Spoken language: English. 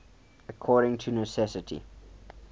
according to necessity